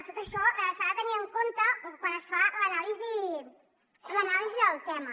tot això s’ha de tenir en compte quan es fa l’anàlisi del tema